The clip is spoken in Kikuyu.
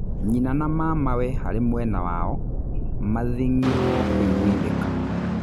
Nyina na mamawe harĩ mwena wao mathĩng'irwo kũiguithĩka.